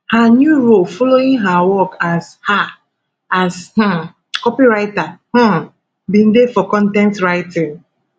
her new role following her work as um as um copywriter um bin dey for con ten t writing